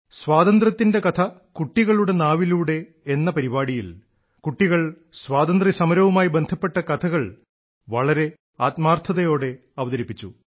സ്വാതന്ത്ര്യത്തിന്റെ കഥ കുട്ടികളുടെ നാവിലൂടെ എന്ന പരിപാടിയിൽ കുട്ടികൾ സ്വാതന്ത്ര്യസമരവുമായി ബന്ധപ്പെട്ട കഥകൾ വളരെ ആത്മാർത്ഥതയോടെ അവതരിപ്പിച്ചു